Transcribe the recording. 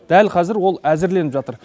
дәл қазір ол әзірленіп жатыр